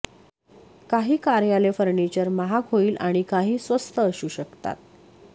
काही कार्यालय फर्निचर महाग होईल आणि काही स्वस्त असू शकतात